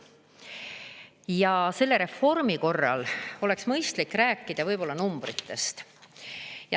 Ja selle reformi korral oleks mõistlik rääkida numbritest.